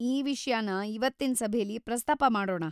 ಈ ವಿಷ್ಯನ ಇವತ್ತಿನ್ ಸಭೆಲಿ ಪ್ರಸ್ತಾಪ ಮಾಡೋಣ.